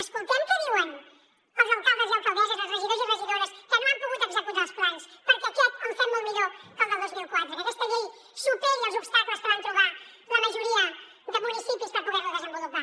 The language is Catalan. escoltem què diuen els alcaldes i alcaldesses els regidors i regidores que no han pogut executar els plans perquè aquest el fem molt millor que el del dos mil quatre que aquesta llei superi els obstacles que van trobar la majoria de municipis per poder los desenvolupar